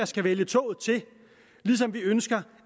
skal vælge toget til ligesom vi ønsker